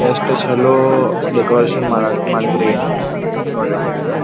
ಎಷ್ಟು ಚಲೋ ಡೆಕೋರೇಷನ್ ಮಾಡಿದ್ರಿ ನೋಡ್ರಿ.